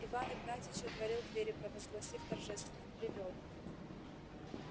иван игнатьич отворил двери провозгласив торжественно привёл